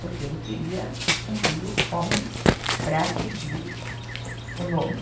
Porque ele queria um filho homem para seguir o nome.